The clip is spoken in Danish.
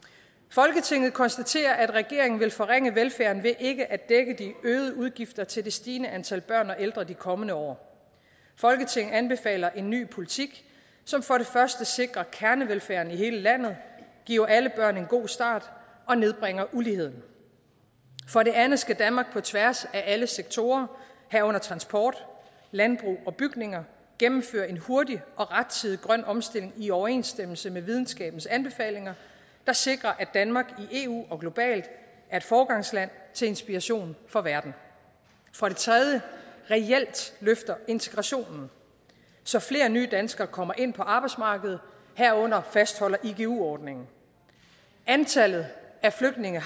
folketinget konstaterer at regeringen vil forringe velfærden ved ikke at dække de øgede udgifter til det stigende antal børn og ældre de kommende år folketinget anbefaler en ny politik som for det første sikrer kernevelfærden i hele landet giver alle børn en god start og nedbringer uligheden for det andet skal danmark på tværs af alle sektorer herunder transport landbrug og bygninger gennemføre en hurtig og rettidig grøn omstilling i overensstemmelse med videnskabens anbefalinger der sikrer at danmark i eu og globalt er et foregangsland til inspiration for verden for det tredje reelt løfter integrationen så flere nye danskere kommer ind på arbejdsmarkedet herunder fastholder igu ordningen antallet af flygtninge